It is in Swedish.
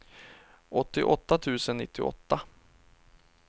åttioåtta tusen nittioåtta